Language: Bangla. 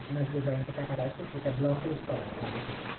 আপনার যে bank এ টাকা রাখছে সেটা blocklist করা আছে আগে থেকে ই